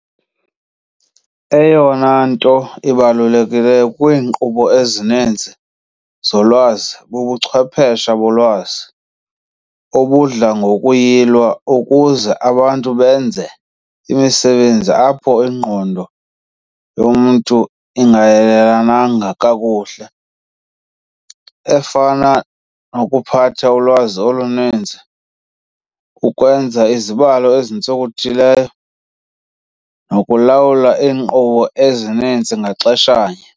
Eyona nto ibalulekileyo kwiinkqubo ezininzi zolwazi bubuchwepheshe bolwazi, obudla ngokuyilwa ukuze abantu benze imisebenzi apho ingqondo yomntu ingayilungelanga kakuhle, efana- nokuphatha ulwazi oluninzi, ukwenza izibalo ezintsonkothileyo, nokulawula iinkqubo ezininzi ngaxeshanye.